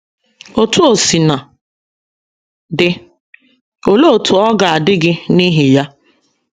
Otú o sina dị, olee otú ọ ga - adị gị n’ihi ya?